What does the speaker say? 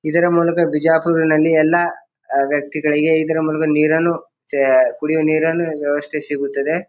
ಇದರ ಮೂಲಕ ಬಿಜಾಪುರ್ ನಲ್ಲಿ ಎಲ್ಲ ವ್ಯಕ್ತಿಗಳಿಗೆ ಇದರ ಮೂಲಕ ನೀರನ್ನು ಚ ಕುಡಿಯುವ ನೀರನ್ನು ವ್ಯವಸ್ಥೆ ಸಿಗುತ್ತದೆ.